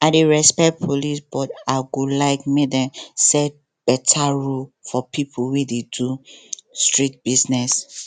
i dey respect police but i go like make dem set better rule for people wey dey do street business